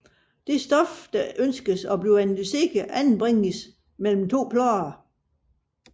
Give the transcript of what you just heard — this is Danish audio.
Det stof der ønskes analyseret anbringes mellem to plader